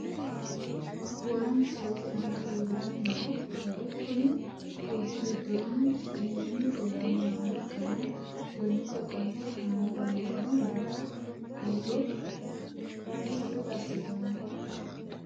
Waa misilete aana leelani noo wayi kuni dubbu gidoni iimini dirani nooha ikkana gonete qolte haanja murono noota buuxo misile asitano.